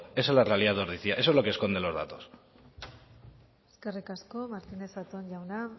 esa es la realidad de ordizia eso es lo que esconde los datos eskerrik asko martíinez zatón jauna